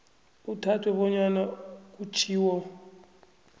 kuthathwe bonyana kutjhiwo